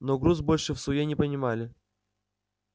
но груз больше всуе не поминали